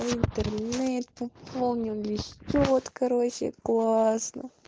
в интернет пополнил мне счёт короче классно